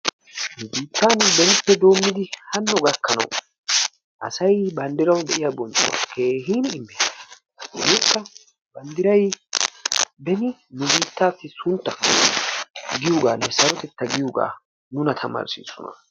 Nu biittan asay benippe doommidi hanno. gakkanawu. asy banddirawu de'iya bonchchuwa keehippe immees. Ha"ikka banddiray nu biittaassu suntta giyogaanne sarotetta giyogaa nuna tamarissiisona.